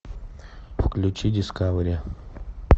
включи дискавери